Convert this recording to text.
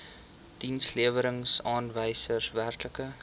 dienslewerings aanwysers werklike